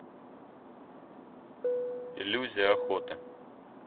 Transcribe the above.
иллюзия охоты